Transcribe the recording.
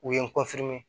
U ye n